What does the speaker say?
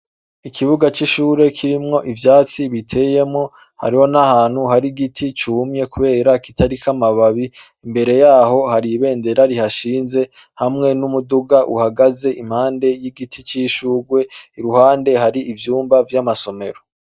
Ikibuga c'ishure kirimwo ivyatsi biteyemwo, hariho n'ahantu hari igiti cumye kubera kitariko amababi. Imbere yaho hari ibendera rihashinze hamwe n'umuduga uhagaze impande y'igiti c'ishugwe, iruhande hari ivyumba vy'amasomero.